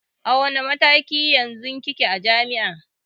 A wanne mataki yanzu kike a jami'a?